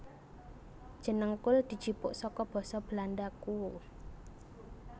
Jeneng kul dijupuk saka basa Belanda kool